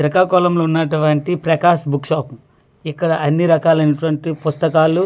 శ్రీకాకుళంలో ఉన్నటువంటి Prakash book shop ఇక్కడ అన్ని రకాలయినటువంటి పుస్తకాలు--